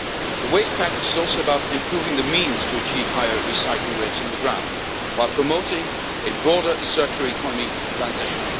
future. The waste package is also about improving the means to achieve higher recycling rates on the ground, while promoting a broader circular economy transition.